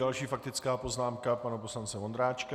Další faktická poznámka pana poslance Vondráčka.